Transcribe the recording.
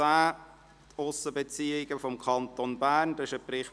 «Die Aussenbeziehungen des Kantons Bern […]».